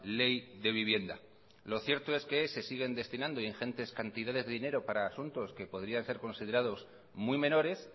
ley de vivienda lo cierto es que se siguen destinando ingentes cantidades de dinero para asuntos que podrían ser considerados muy menores